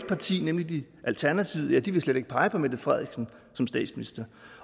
parti nemlig alternativet vil slet ikke pege på mette frederiksen som statsminister